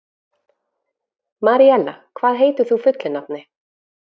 Maríella, hvað heitir þú fullu nafni?